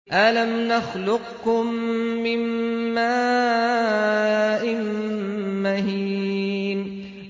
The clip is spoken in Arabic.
أَلَمْ نَخْلُقكُّم مِّن مَّاءٍ مَّهِينٍ